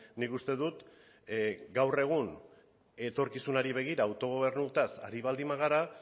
nik uste dut gaur egun etorkizunari begira autogobernuaz ari baldin bagara